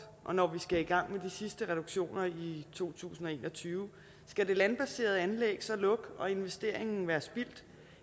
og når vi skal i gang med de sidste reduktioner i 2021 skal de landbaserede anlæg så lukke og investeringen være spildt